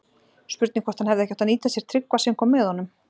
Spurning hvort hann hefði ekki átt að nýta sér Tryggva sem kom með honum?